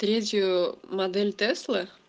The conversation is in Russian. третью модель тесла